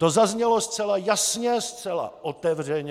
To zaznělo zcela jasně, zcela otevřeně.